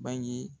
Bange